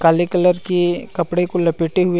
काले कलर की कपड़े को लपेटे हुए--